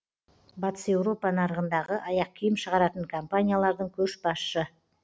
батыс еуропа нарығындағы аяқ киім шығаратын компаниялардың көшбасшы